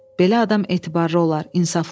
Belə adam etibarlı olar, insaflı olar.